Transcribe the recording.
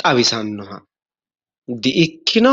xawisannoha di"ikkino?